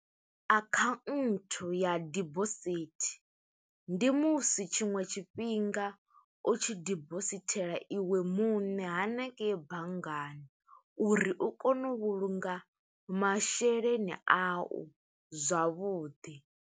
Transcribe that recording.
Akhanthu ya debosithi, ndi musi tshiṅwe tshifhinga u tshi dibosithela iwe muṋe hanengeyi banngani, uri u kone u vhulunga masheleni a u, zwavhuḓi.